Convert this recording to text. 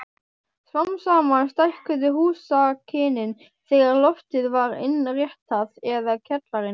Smám saman stækkuðu húsakynnin þegar loftið var innréttað eða kjallarinn.